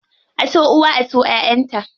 A so uwa, a so ƴaʼƴan ta.